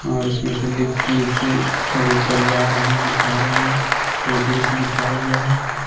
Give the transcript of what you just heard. और उसमें से लिफ्ट नीचे और ऊपर जा रहे हैं आ रहे हैं और दृश्य दिखाया गया है।